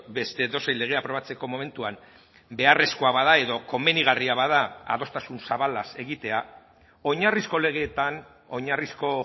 beste edozein lege aprobatzeko momentuan beharrezkoa bada edo komenigarria bada adostasun zabalaz egitea oinarrizko legeetan oinarrizko